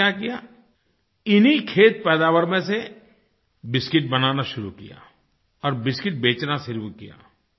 उन्होंने क्या किया इन्हीं खेत पैदावार में से बिस्किट बनाना शुरू किया और बिस्किट बेचना शुरू किया